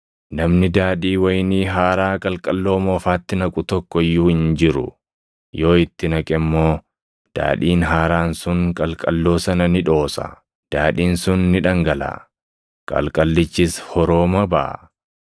Namni daadhii wayinii haaraa + 5:37 Daadhii wayinii haaraa – Daadhii wayinii kan amma illee danfaa jiru yookaan kan hin bilchaatin jechuu dha. qalqalloo moofaatti naqu tokko iyyuu hin jiru. Yoo itti naqe immoo daadhiin haaraan sun qalqalloo sana ni dhoosa; daadhiin sun ni dhangalaʼa; qalqallichis horoomaa baʼa.